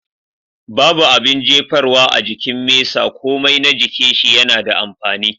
Babu abun jefarwa a jikin mesa komai na jikin shi yana da amfani.